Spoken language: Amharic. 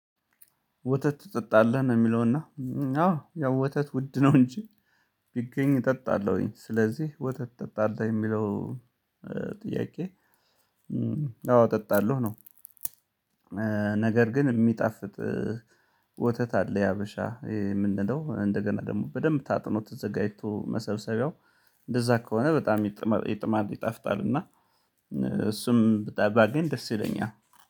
ወተት ትጠጣለህ ነው የሚለውና አዎ ያው ወተት ውድ ነው እንጂ ቢገኝ እጠጣለሁኝ ስለዚህ ወጥተህ እጠጣለሁ የሚለው ጥያቄ አዎ እጠጣለሁ ነው። ነገር ግን የሚጣፍጥ ወተት አለ የሀበሻ የምንለው እንደገና ደግሞ በደንብ ታጥኖ ተዘጋጅቶ መሰብሰቢያው እንደዛ ከሆነ በጣም ይጥማል ይጣፍጣልና እሱም በጣም ባገኝ ደስ ይለኛል